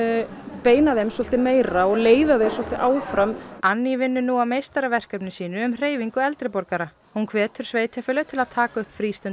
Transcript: beina þeim svolítið meira og leiða þau áfram vinnur nú að meistaraverkefni sínu um hreyfingu eldri borgara hún hvetur sveitarfélög til að taka upp